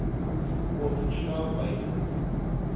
op tuna buiten